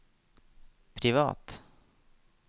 privat